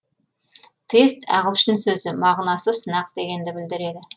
тест ағылшын сөзі мағынасы сынақ дегенді білдіреді